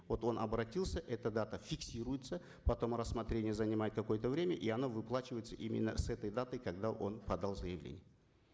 вот он обратился эта дата фиксируется потом рассмотрение занимает какое то время и оно выплачивается именно с этой даты когда он подал заявление